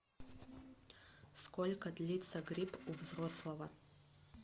сколько длится грипп у взрослого